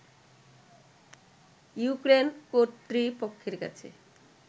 Ukraine কর্তৃপক্ষের কাছে